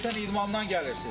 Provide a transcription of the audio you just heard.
Deyirsən idmandan gəlirsiz?